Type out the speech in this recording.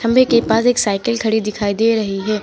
खंबे के पास एक साइकिल खड़ी दिखाई दे रही है।